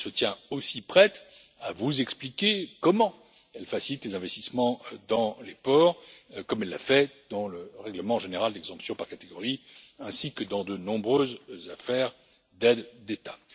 Elle se tient aussi prête à vous expliquer comment elle facilite les investissements dans les ports, comme elle l'a fait dans le règlement général d'exemption par catégorie, ainsi que dans de nombreuses affaires d'aides d'État.